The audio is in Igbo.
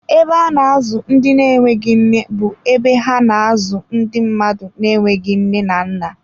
Ebe a na-azụ ndị na-enweghị nne bụ ebe ha na-azụ ndị mmadụ na-enweghị nne na nna.